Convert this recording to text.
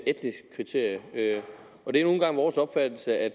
etnisk kriterium og det er nu engang vores opfattelse at